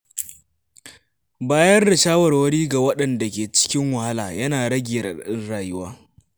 Bayar da shawarwari ga waɗanda ke cikin wahala yana rage raɗaɗin rayuwa.